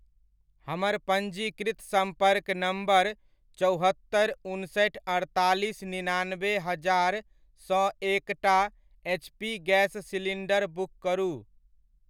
हमर पञ्जीकृत सम्पर्क नम्बर चौहत्तरि उनसठि अड़तालीस निनानबे हजार सँ एकटा एचपी गैस सिलीण्डर बुक करू।